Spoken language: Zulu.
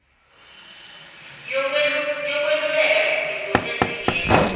yokweluleka yizinto ezingena